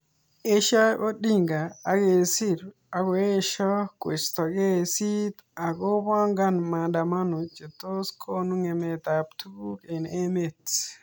Eshoi Oding akesir akoesho koisto kesit ako pangan maandamano chetos konu ngemet ap tukuk eng emet.